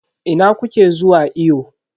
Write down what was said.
Ina kuke zuwa iyo?